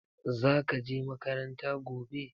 Zaka je makaranta gobe?